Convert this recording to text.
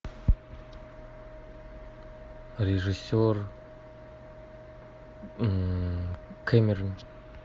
режиссер кэмерон